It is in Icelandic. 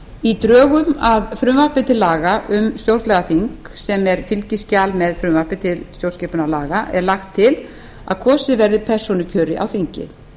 í drögum að frumvarpi til laga um stjórnlagaþing sem er fylgiskjal með frumvarpi til stjórnskipunarlaga er lagt til að kosið verði persónukjöri